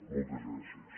moltes gràcies